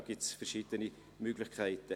Es gibt verschiedene Möglichkeiten.